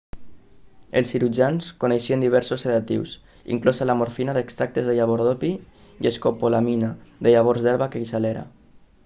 els cirurgians coneixien diversos sedatius inclosa la morfina d'extractes de llavors d'opi i l'escopolamina de llavors d'herba queixalera